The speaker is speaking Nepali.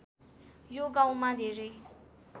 यो गाउँमा धेरै